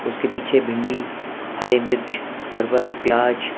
उसके पीछे भिंडी हरी मिर्च परवल प्याज--